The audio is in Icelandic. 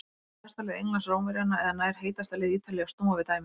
Klárar besta lið Englands Rómverjana eða nær heitasta lið Ítalíu að snúa við dæminu?